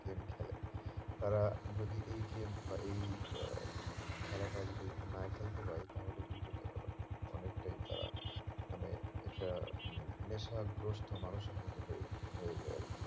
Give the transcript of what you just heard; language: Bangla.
game খেলে তারা যদি এই game বা এই আহ উম খেলাটা যদি না খেলতে পারে তাহলে কিন্তু তারা অনেকটাই তারা মানে এটা নেশা গ্রস্ত মানুষের মতো হয়ে হয়ে যায় আর কি